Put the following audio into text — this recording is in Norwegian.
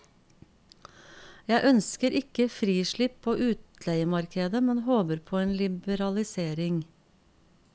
Jeg ønsker ikke frislipp på utleiemarkedet, men håper på en liberalisering.